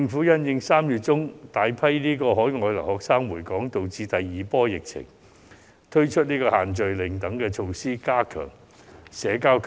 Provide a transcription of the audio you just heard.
因應3月中有大批海外留學生回港觸發第二波疫情，政府推出"限聚令"等措施，加強保持社交距離。